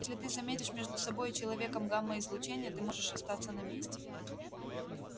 если ты заметишь между собой и человеком гамма-излучение ты можешь остаться на месте